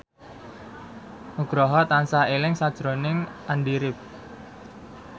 Nugroho tansah eling sakjroning Andy rif